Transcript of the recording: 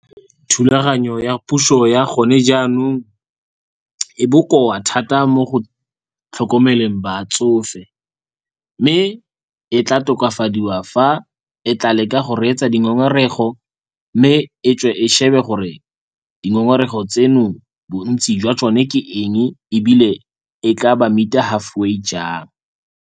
Thulaganyo ya puso ya gone jaanong e bokoa thata mo go tlhokomeleng batsofe. Mme e tla tokafadiwa fa e tla leka go reetsa dingongorego mme e tswe e shebe gore dingongorego tseno bontsi jwa tsone ke eng ebile e tla ba meet-a halfway jang.